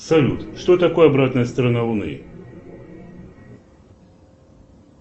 салют что такое обратная сторона луны